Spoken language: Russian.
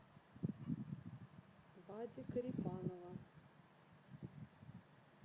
вади корепанова